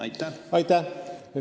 Aitäh!